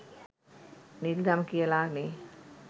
නිල්දම් කියලා නේ.